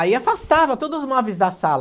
Aí afastava todos os móveis da sala.